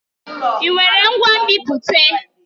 Ị nwere ngwa nbipute?